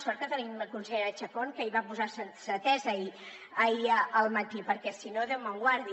sort que tenim la consellera chacón que hi va posar sensatesa ahir al matí perquè si no déu me’n guardi